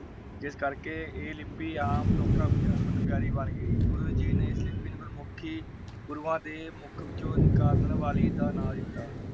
ਜਿਸ ਕਰਕੇ ਏ ਲਿਪੀ ਆਮ ਲੋਕਾਂ ਵਿਚ ਹਰਮਨ ਪਿਆਰੇ ਬਣ ਗਈ । ਗੁਰੂ ਜੀ ਨੇ ਇਸ ਲਿਪੀ ਨੂੰ ਗੁਰਮੁਖੀ ਗੁਰੂਆਂ ਦੇ ਮੁਖ ਨਿਕਾਲਣ ਵਾਲੀ ਦਾ ਨਾ ਦਿਤਾ ।